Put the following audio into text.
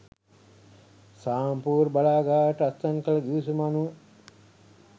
සාම්පූර් බලාගාරයට අත්සන් කළ ගිවිසුම අනුව